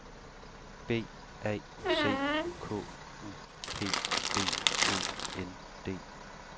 B A C K U P B Å N D